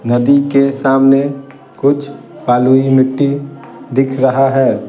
नदी के सामने कुछ पालूई मिट्टी दिख रहा है ।